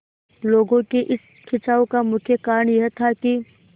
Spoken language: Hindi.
लोगों के इस खिंचाव का मुख्य कारण यह था कि